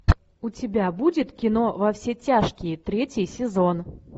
у тебя будет кино во все тяжкие третий сезон